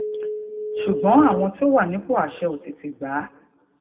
ṣùgbọn àwọn tó wà nípò àṣẹ ò tètè gbà á